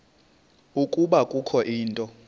ukuba kukho into